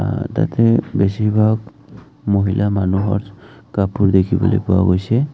আ তাতে বেছিভাগ মহিলা মানুহৰ কাপোৰ দেখিবলৈ পোৱা গৈছে।